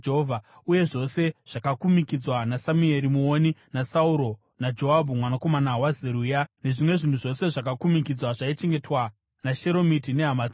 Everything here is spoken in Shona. Uye zvose zvakakumikidzwa naSamueri muoni naSauro naJoabhu mwanakomana waZeruya, nezvimwe zvinhu zvose zvakakumikidzwa zvaichengetwa naSheromiti nehama dzake.)